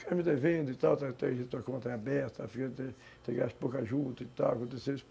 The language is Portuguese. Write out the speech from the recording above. Ficar me devendo e tal, ter a conta aberta, ter gasto pouca juta e tal, aconteceu isso.